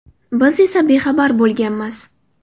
Biz esa bexabar bo‘lganmiz.